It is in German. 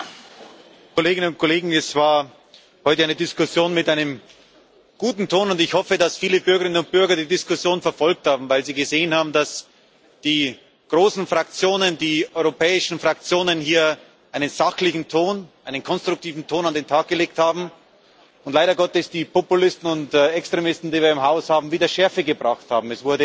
Herr Präsident, Kolleginnen und Kollegen! Das war heute eine Diskussion mit einem guten Ton, und ich hoffe, dass viele Bürgerinnen und Bürger die Diskussion verfolgt haben, weil sie gesehen haben, dass die großen Fraktionen, die europäischen Fraktionen hier einen sachlichen Ton, einen konstruktiven Ton an den Tag gelegt haben und leider Gottes die Populisten und Extremisten, die wir hier im Haus haben, wieder Schärfe gebracht haben.